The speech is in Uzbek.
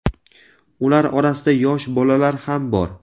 Ular orasida yosh bolalar ham bor.